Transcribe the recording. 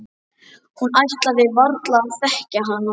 Hún ætlaði varla að þekkja hana.